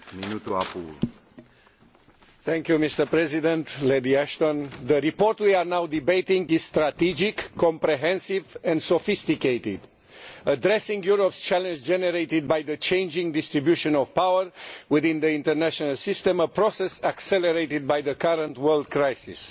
Mr President, the report we are now debating is strategic, comprehensive and sophisticated, addressing Europe's challenge generated by the changing distribution of power within the international system a process accelerated by the current world crisis.